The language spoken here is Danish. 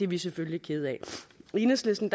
vi selvfølgelig kede af i enhedslisten